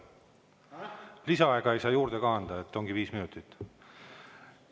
Lisaaega ei saa juurde anda, ongi viis minutit.